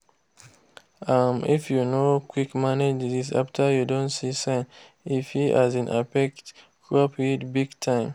um if you no quick manage disease after you don see sign e fit um affect crop yied big time.